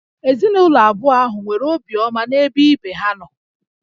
Ezinụlọ abụọ ahụ nwere obiọma n'ebe ibe ha nọ